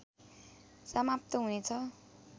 समाप्त हुने छ